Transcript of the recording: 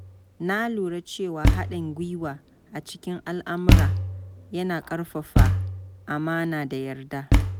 Na lura cewa haɗin gwiwa a cikin al’amura yana ƙarfafa amana da yarda.